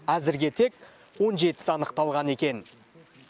әзірге тек он жетісі анықталған екен